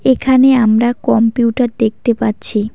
এখানে আমরা কম্পিউটার দেখতে পাচ্ছি।